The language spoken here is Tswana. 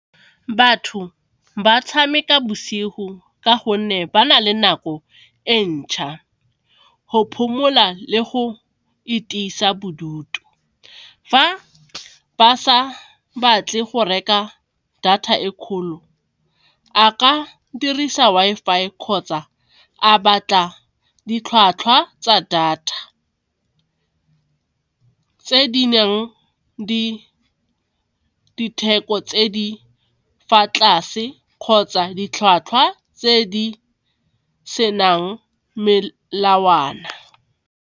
Batho ba tshameka bosigo ka gonne ba na le nako e ntšha, go phomola le go itisa bodutu, fa ba sa batle go reka data e kgolo a ka dirisa Wi-Fi kgotsa a batla ditlhwatlhwa tsa data tse di nang ditheko tse di fa tlase kgotsa ditlhwatlhwa tse di senang melawana.